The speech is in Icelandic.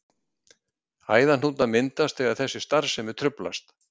Æðahnútar myndast þegar þessi starfsemi truflast.